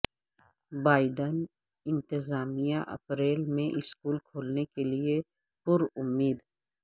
Biden انتظامیہ April میں school کھولنے کے لیے پرامید